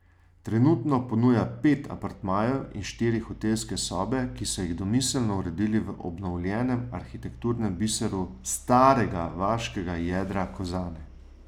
Trenutno ponuja pet apartmajev in štiri hotelske sobe, ki so jih domiselno uredili v obnovljenem arhitekturnem biseru starega vaškega jedra Kozane.